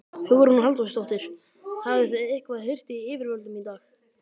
Hugrún Halldórsdóttir: Hafið þið eitthvað heyrt í yfirvöldum í dag?